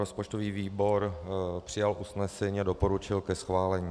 Rozpočtový výbor přijal usnesení a doporučil ke schválení.